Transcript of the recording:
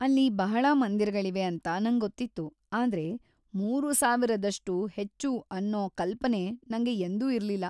ಅಲ್ಲಿ ಬಹಳಾ ಮಂದಿರಳಿವೆ ಅಂತಾ ನಂಗೊತ್ತಿತ್ತು ಆದ್ರೆ ಮೂರುಸಾವಿರದಷ್ಟು ಹೆಚ್ಚು ಅನ್ನೂ ಕಲ್ಪನೆ ನಂಗೆ ಎಂದೂ ಇರ್ಲಿಲ್ಲ.